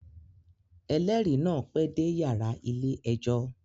Ẹlẹri náà pẹ dé yàrá ilé-ẹjọ